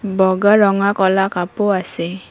বগা ৰঙা ক'লা কাপো আছে।